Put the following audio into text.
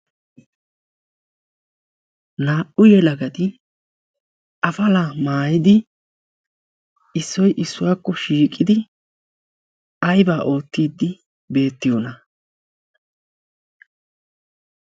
naa'u yeelagati afala maayidi issoy issuwaakko shiiqidi aibaa oottiiddi beettiyoona?